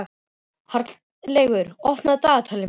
Háleygur, opnaðu dagatalið mitt.